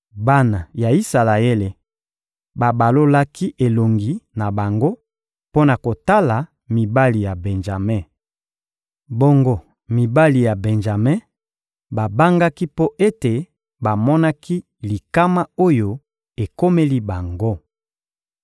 Bana ya Isalaele babalolaki elongi na bango mpo na kotala mibali ya Benjame. Bongo mibali ya Benjame babangaki mpo ete bamonaki likama oyo ekomeli bango.